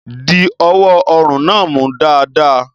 Di ọwọ́ ọrùn náà mú dáadáa.